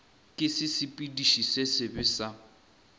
ke sesepediši se sebe sa